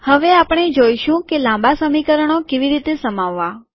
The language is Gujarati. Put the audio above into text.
હવે આપણે જોઈશું કે લાંબા સમીકરણો કેવી રીતે સમાવવા